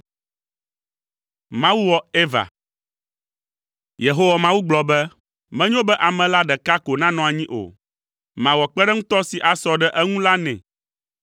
Yehowa Mawu gblɔ be, “Menyo be ame la ɖeka ko nanɔ anyi o. Mawɔ kpeɖeŋutɔ si asɔ ɖe eŋu la nɛ.”